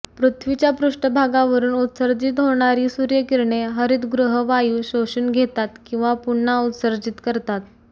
पृथ्वीच्या पृष्ठभागावरून उत्सर्जित होणारी सूर्यकिरणे हरितगृह वायू शोषून घेतात किंवा पुन्हा उत्सर्जित करतात